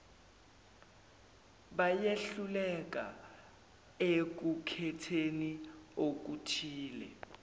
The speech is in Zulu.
bayehluka ekukhetheni okuthile